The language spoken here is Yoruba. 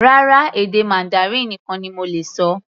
Rárá, èdè Mandarin nìkan ni mo lè ṣọ.